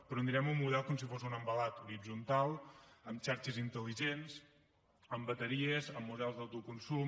però mirem el model com si fos un envelat horitzontal amb xarxes intel·ligents amb bateries amb models d’autoconsum